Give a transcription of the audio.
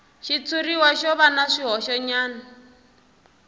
xitshuriwa xo va na swihoxonyana